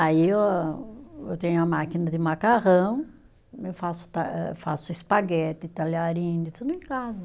Aí eu ah, eu tenho a máquina de macarrão, eu faço ta, faço espaguete, talharim, tudo em casa.